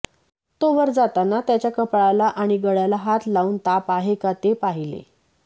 तो वर जाताना त्याच्या कपाळाला आणि गळ्याला हात लाऊन ताप आहे का ते पाहीले